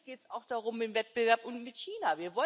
Natürlich geht es auch darum im Wettbewerb mit China.